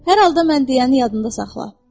Hər halda sən mənim deyəni yadında saxla.